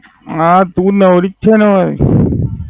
હા તું નવરી જ છે ન હવે.